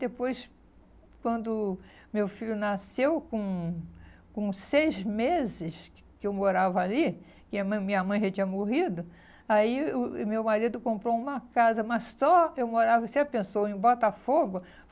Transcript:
Depois, quando meu filho nasceu, com com seis meses que eu morava ali, que a min minha mãe já tinha morrido, aí o eh meu marido comprou uma casa, mas só eu morava... Você já pensou em Botafogo?